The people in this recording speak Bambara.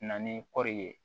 Na ni kɔɔri ye